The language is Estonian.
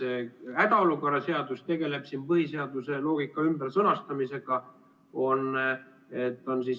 Panete tähele, hädaolukorra seadus tegeleb põhiseaduse loogika ümbersõnastamisega.